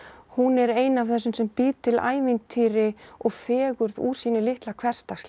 hún er ein af þessum sem býr til ævintýri og fegurð úr sínu litla hversdagslífi